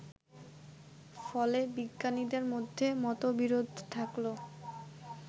ফলে বিজ্ঞানীদের মধ্যে মতবিরোধ থাকলেও